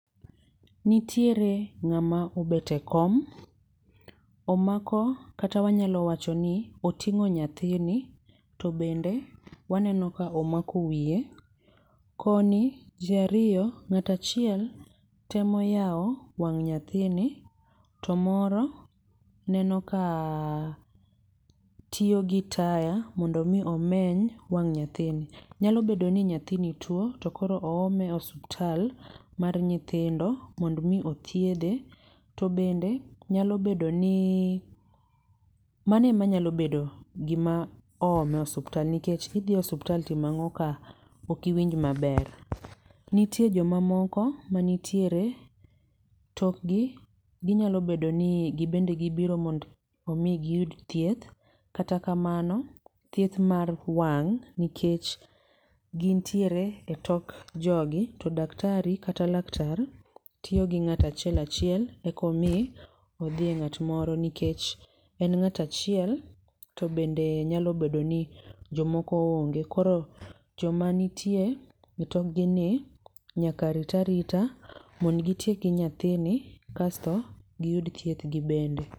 Nitiere ng'ama obet e kom, omako kata wanyalo wachoni oting'o nyathini to bende omako wiye, koni ji ariyo, ng'ato achiel temo yawo wang' nyathini, to moro neno ka tiyo gi taya mondo mi omeny wang' nyathini. Nyalo bedo ni nyathini tuo to koro oome e osiptal mar nyithindo to koro oome mondo mi othiedhe. To bende nyalo bedo ni mano ema nyalo bedo gima oomo e osiptal nikech idhi e osiptal timo ang'o ka ok iwinj maber. Nitiere joma moko manitiere tok gi ginyalo bedo ni gin bende gibiro mondo giyud thieth, kata kamano thieth mar wang' nikech gin tiere etok jogi to daktari kata laktar tiyo gi ng'ato achiel achiel, eko omi odhi e ng'at moro nikech en ng'ato achiel to bende nyalo bedo ni jomoko onge koro joma nitie e tokgini nyaka rit arita mondo gitiek gi nyathini kasto giyud thiethgi gibende.